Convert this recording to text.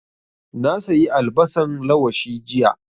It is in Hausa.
Na sayi albasan lawashi jiya